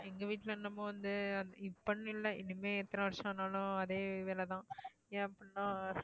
எங்க வீட்டுல நம்ம வந்து இப்பன்னு இல்ல இனிமே எத்தனை வருஷம் ஆனாலும் அதே வேலைதான் ஏன் அப்படினா